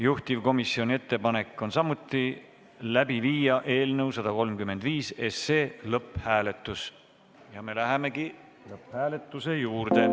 Juhtivkomisjoni ettepanek on läbi viia eelnõu lõpphääletus ja me lähemegi lõpphääletuse juurde.